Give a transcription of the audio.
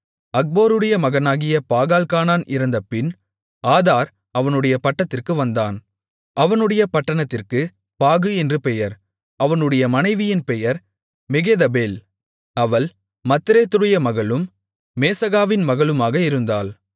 அக்போருடைய மகனாகிய பாகால்கானான் இறந்தபின் ஆதார் அவனுடைய பட்டத்திற்கு வந்தான் அவனுடைய பட்டணத்திற்குப் பாகு என்று பெயர் அவனுடைய மனைவியின் பெயர் மெகேதபேல் அவள் மத்ரேத்துடைய மகளும் மேசகாவின் மகளுமாக இருந்தாள்